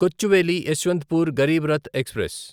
Kochuveli Yesvantpur Garib Rath express